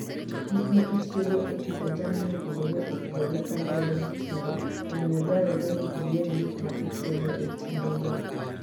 Gik ma itiyogo e pidho jamni opogore opogore kaluwore gi kinde, omiyo dwarore ni iyier gik ma itiyogo e kindego.